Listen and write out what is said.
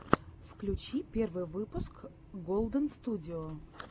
включи первый выпуск голдэнстудио